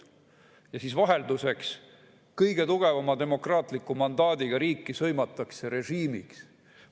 " Ja siis vahelduseks sõimatakse kõige tugevama demokraatliku mandaadiga riiki režiimiks.